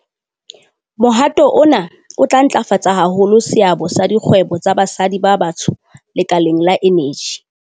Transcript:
Mohato ona o tla ntlafatsa haholo seabo sa dikgwebo tsa basadi ba batsho lekaleng la eneji.